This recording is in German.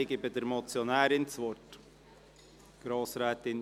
Ich gebe der Motionärin das Wort.